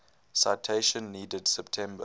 citation needed september